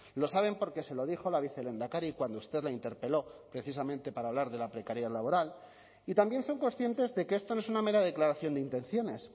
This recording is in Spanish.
lo saben porque se lo dijo la vicelehendakari cuando usted la interpeló precisamente para hablar de la precariedad laboral y también son conscientes de que esto no es una mera declaración de intenciones